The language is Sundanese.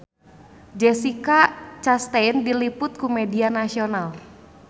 Jessica Chastain diliput ku media nasional